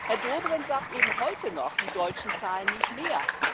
Herr Dobrindt sagt eben heute noch Die Deutschen zahlen nicht mehr.